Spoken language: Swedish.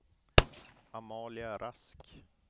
Amalia Rask